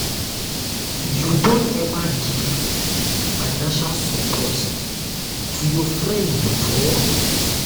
you don ever give financial support to your friend before?